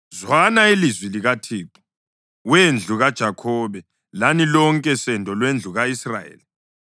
Zwana ilizwi likaThixo, we ndlu kaJakhobe, lani lonke sendo lwendlu ka-Israyeli.